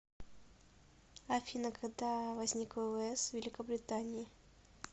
афина когда возник ввс великобритании